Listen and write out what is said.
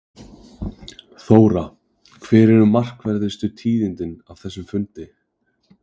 Þóra, hver eru markverðustu tíðindin af þessum fundi?